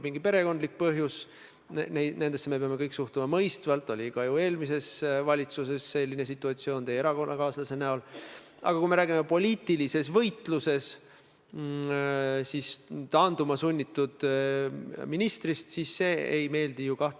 Minu meelest oli see "Aktuaalne kaamera", kus teie erakonna esimees Kaja Kallas ütles järgmist: "Vaadates kõike seda, mida ta peaministrina on korda saatnud, siis Jüri Ratas peaministrina müüks Eesti maha esimesel võimalusel, kui ta saaks jätkata peaministrina, ja ma arvan, et see ei ole Eesti huvides.